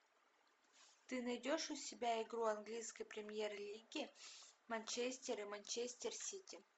ты найдешь у себя игру английской премьер лиги манчестер и манчестер сити